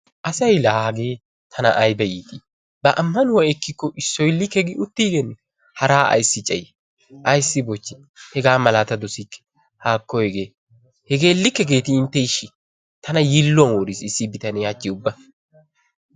Asay laa hagee tana aybba iiti ba ammanuwa ekkikko issoy likke gi uttigenne haraa ayssi cayi ayssi bochchi hegamala ta dossikke haakko hegee hegee likkegeeti intte ishi tana yiiluwan woriis issi bitanne hachchi ubba